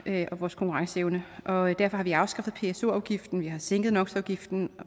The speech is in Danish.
og vores konkurrencevne og derfor har vi afskaffet pso afgiften vi har sænket nox afgiften